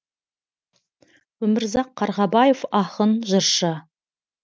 өмірзақ қарғабаев ақын жыршы